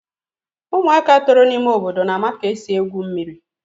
ụmụaka toro n'ime obodo na-ama ka esi egwu mmiri.